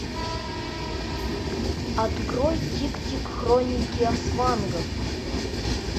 открой тиктик хроники асвангов